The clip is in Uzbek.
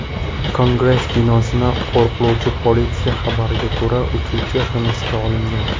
Kongress binosini qo‘riqlovchi politsiya xabariga ko‘ra, uchuvchi hibsga olingan.